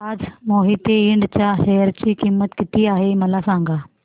आज मोहिते इंड च्या शेअर ची किंमत किती आहे मला सांगा